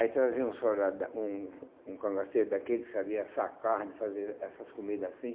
Aí traziam um soldado da, um um cangaceiro daqueles que sabia assar carne, fazer essas comidas assim.